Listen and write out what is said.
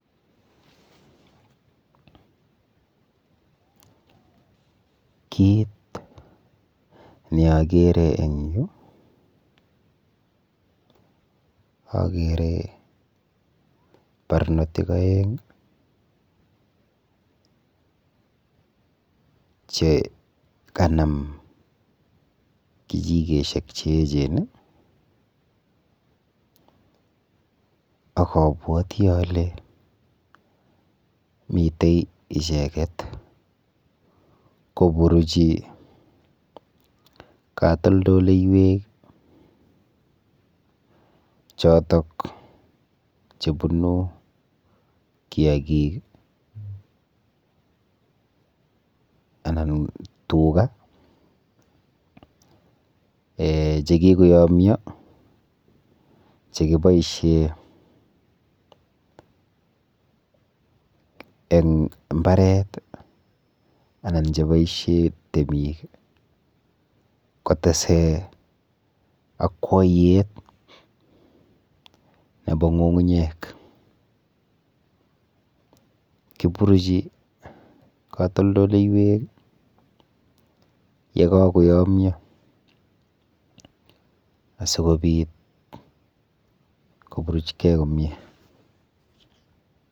Kit neakere eng yu akere barnotik aeng chekanam kichikeshek cheechen akabwoti ale mite icheket koburuchi katoldoleiwek chotok chebunu kiakik anan tuga um chekikoyomyo chekiboishe eng mbaret anan cheboishe temik kotese akwoiyet nepo ng'ung'unyek. Kiburuchi katoldoleiwek yekakoyomyo asikobit koburuchkei komie.